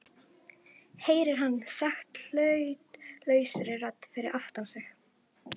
heyrir hann sagt hlutlausri rödd fyrir aftan sig.